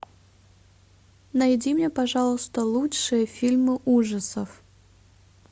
найди мне пожалуйста лучшие фильмы ужасов